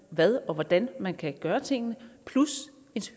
hvad og hvordan man kan gøre tingene plus